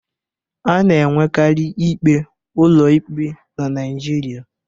A na-enwekari ikpe ụlọ ikpe na Naịjirịa